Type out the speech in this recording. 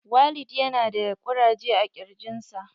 Walid ya na da ƙuraje a jikin sa.